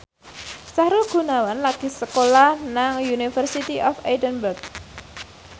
Sahrul Gunawan lagi sekolah nang University of Edinburgh